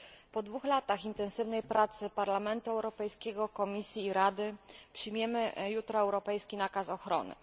Po dwóch latach intensywnej pracy Parlamentu Europejskiego, Komisji i Rady przyjmiemy jutro europejski nakaz ochrony.